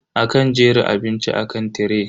Akan jera abinci akan tiray.